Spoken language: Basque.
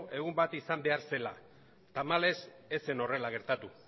egun bat izan behar zela tamalez ez zen horrela gertatu